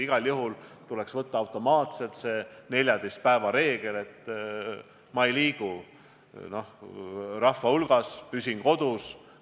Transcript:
Igal juhul tuleks aluseks võtta automaatselt see 14 päeva reegel: ma ei liigu siis rahva hulgas, püsin kodus.